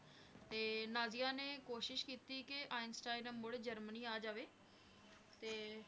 ਤੇ ਨਾਜ਼ੀਆਂ ਨੇ ਕੋਸ਼ਿਸ਼ ਕੀਤੀ ਕਿ ਆਈਨਸਟੀਨ ਮੁੜ ਜਰਮਨੀ ਆ ਜਾਵੇ, ਤੇ